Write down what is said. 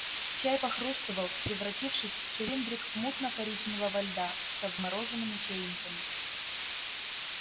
чай похрустывал превратившись в цилиндрик мутно-коричневого льда со вмороженными чаинками